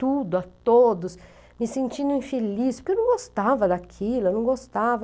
Tudo, a todos, me sentindo infeliz, porque eu não gostava daquilo, eu não gostava.